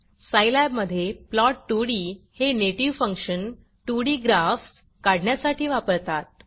Scilab मधे plot 2डी हे नेटिव्ह फंक्शन 2डी ग्राफ्स काढण्यासाठी वापरतात